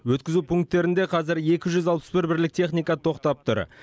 өткізу пункттерінде қазір екі жүз алпыс бір бірлік техника тоқтап тұр